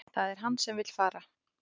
Það er hann sem vill fara